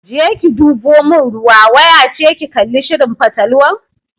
Je ki deɓo mun ruwa!waya ce ki kalli shirin fatalwan.